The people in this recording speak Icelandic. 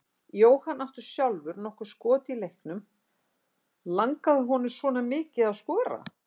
Jóhann átti sjálfur nokkur skot í leiknum, langaði honum svona mikið að skora?